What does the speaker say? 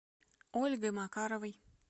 ольгой макаровой